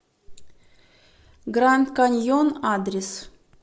гранд каньон адрес